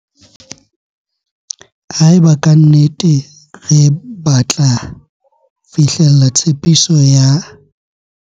Haeba ka nnete re batla fihlella tshepiso ya